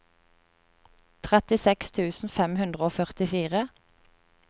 trettiseks tusen fem hundre og førtifire